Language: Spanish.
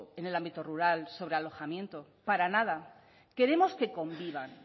en el ámbito rural sobre alojamiento para nada queremos que convivan